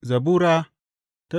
Zabura Sura